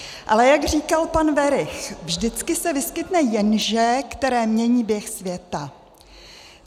Ale jak říkal pan Werich, vždycky se vyskytne jenže, které mění běh světa.